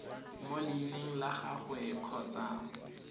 mo leineng la gagwe kgotsa